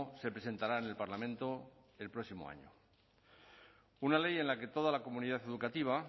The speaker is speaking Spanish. se presentará en el parlamento el próximo año una ley en la que toda la comunidad educativa